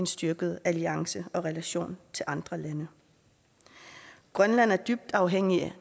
styrkede alliancer og relationer til andre lande grønland er dybt afhængig